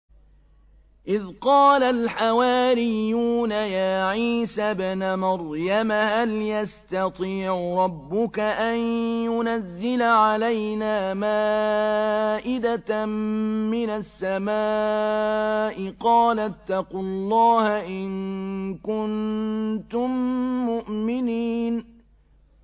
إِذْ قَالَ الْحَوَارِيُّونَ يَا عِيسَى ابْنَ مَرْيَمَ هَلْ يَسْتَطِيعُ رَبُّكَ أَن يُنَزِّلَ عَلَيْنَا مَائِدَةً مِّنَ السَّمَاءِ ۖ قَالَ اتَّقُوا اللَّهَ إِن كُنتُم مُّؤْمِنِينَ